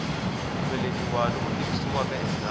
ku velekiwa loku tivisiwaka endzhaku